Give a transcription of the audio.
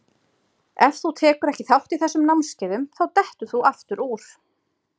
Ef þú tekur ekki þátt í þessum námskeiðum þá dettur þú aftur úr.